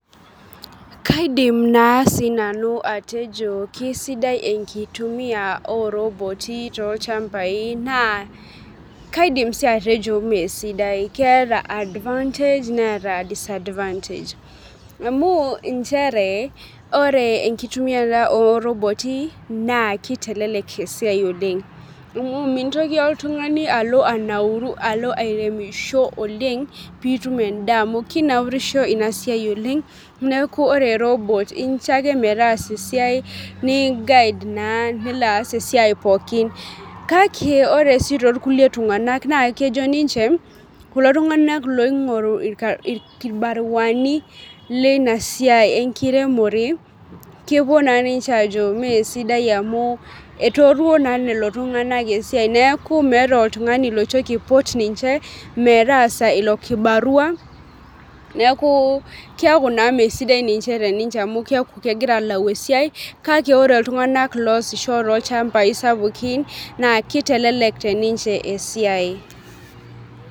Kaidim naa sii nanu atejo keisidai enkitumia oo robotii tolchambai naa kaidim sii atejo mee sidai keeeta advantage neeta disadvantage amuu inchere ore enkitumiare oo robot i naa kitelelek eisia oleng' mintoki oltung'ani alo anauru alo airemisho oleng' pitum edaa amu kinaurisho ina siai oleng' neeku ore ii robot ii incho ake metaasa esiai ni guide naa nilo aas esiai pookin. Kake ore sii too irkulie tungana naa kejo ninche kulo tungana oingoru irkibaruani lenai seiai enkiremore kepuo naa ninche ajo mee sidia amu etoruo naa leo Tung'ana esiai neeku meeta oltung'ani loitoki aipot ninche metaasa ilo kibarua neeku keeku naa mesidai ninye te ninche amuu keeku kegira alau ee siai kake ore iltung'ana loosisho tekulo shamba i sapukin naa kitelelek teninche esiai.